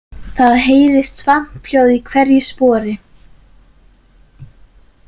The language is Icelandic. Það heyrðist skvamphljóð í hverju spori.